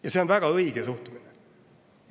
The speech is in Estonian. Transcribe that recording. Ja see on väga õige suhtumine!